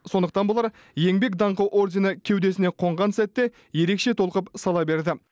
сондықтан болар еңбек даңқы ордені кеудесіне қонған сәтте ерекше толқып сала берді